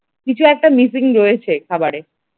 কিছু একটা missing রয়েছে খাবার এ ।